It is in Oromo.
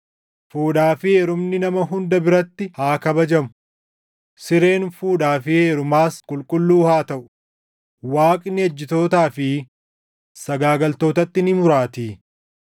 Fuudhaa fi heerumni nama hunda biratti haa kabajamu; sireen fuudhaa fi heerumaas qulqulluu haa taʼu; Waaqni ejjitootaa fi sagaagaltootatti ni muraatii.